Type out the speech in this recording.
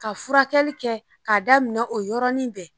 Ka furakɛli kɛ k'a daminɛ o yɔrɔnin bɛɛ